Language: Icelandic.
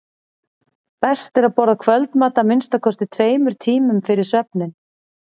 best er að borða kvöldmat að minnsta kosti tveimur tímum fyrir svefninn